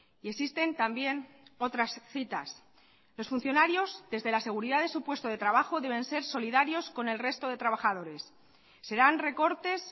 y existen también otras citas los funcionarios desde la seguridad de su puesto de trabajo deben ser solidarios con el resto de trabajadores serán recortes